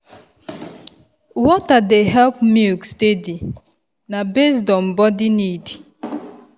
water dey help milk steady na based on body need.